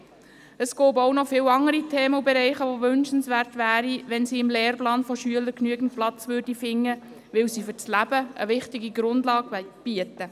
Es gibt auch noch viele andere Themen und Bereiche, bei denen es wünschenswert wäre, wenn sie im Lehrplan von Schülern genügend Platz fänden, weil sie für das Leben eine wichtige Grundlage bieten.